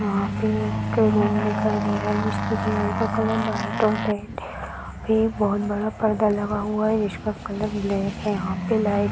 यहाँ पे एक रूम दिखाई दे रहा है जिसपे दीवार का कलर वाइट और रेड है | यहाँ पे बहुत बड़ा पर्दा लगा हुआ है जिसका कलर ब्लैक है | यहाँ पे लाइट --